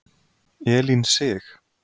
Elín Sig.